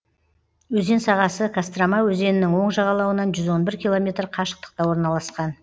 өзен сағасы кострома өзенінің оң жағалауынан жүз он бір километр қашықтықта орналасқан